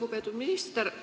Lugupeetud minister!